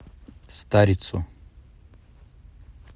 старицу